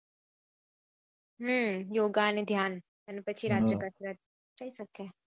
હમ યોગા અને ધ્યાન અને પછી રાત્રે કસરત થઇ સકે